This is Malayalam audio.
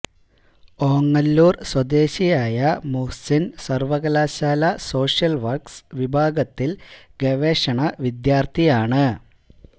ഓങ്ങല്ലൂര് സ്വദേശിയായ മുഹ്സിന് സര്വകലാശാല സോഷ്യല് വര്ക്സ് വിഭാഗത്തില് ഗവേഷണ വിദ്യാര്ഥിയാണ്